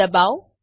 જી ડબાઓ